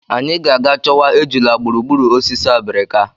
Anyị ga-aga chọwa ejula gburugburu osisi obrika.